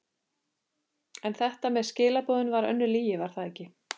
En þetta með skilaboðin var önnur lygi, var það ekki?